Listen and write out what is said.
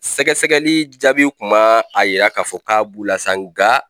Sɛgɛsɛgɛli jaabi kun ma a jira k'a fɔ k'a bu la sa nka